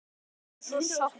Allir voru sáttir.